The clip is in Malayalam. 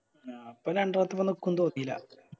ആ അപ്പൊ രണ്ട് വട്ടം കൊണ്ടോന്ന് നിക്കുന്ന് തോന്നില്ല